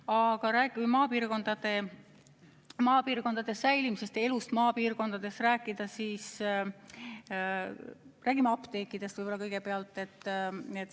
Aga kui rääkida maapiirkondade säilimisest ja elust maapiirkondades, siis räägime kõigepealt apteekidest.